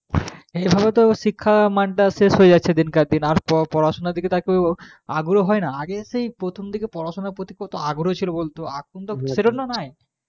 এইভাবে তো শিক্ষার মানটা শেষ হয়ে যাচ্ছে দিনকা দিন আর পড়াশোনার দিকে তো আর কেউ আগ্রহ হয় না আগে সেই প্রথম দিকে পড়াশোনার প্রতি কত আগ্রহ ছিল বলতো, এখন তো সেটা তো নাই